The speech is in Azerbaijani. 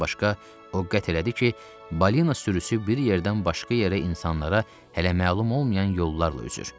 Bundan başqa, o qət etdi ki, balina sürüsü bir yerdən başqa yerə insanlara hələ məlum olmayan yollarla üzür.